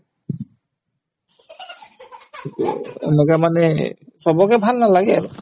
এনেকুৱা মানে চবকে ভাল নালাগে আৰু